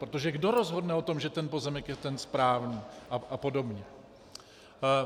Protože kdo rozhodne o tom, že ten pozemek je ten správný, a podobně?